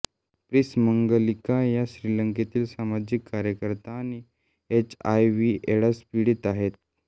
प्रिंसी मंगलिका ह्या श्रीलंकेतील सामाजिक कार्यकर्त्या आणि एचआयव्हीएड्स पीडित आहेत